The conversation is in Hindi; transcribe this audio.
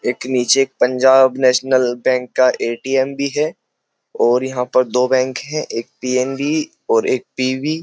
एक नीचे एक पंजाब नेशनल बैंक का एटीएम भी है और यहां पर दो बैंक है एक पी.एन.बी और एक पी.बी ।